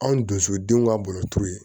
Anw dusu denw ka bolotu ye